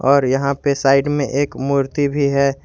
और यहां पे साइड में एक मूर्ति भी है।